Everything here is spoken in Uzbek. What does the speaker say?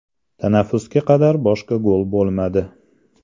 Tanaffusga qadar boshqa gol bo‘lmadi.